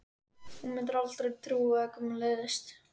Þú mundir aldrei trúa hvað mér leiðist.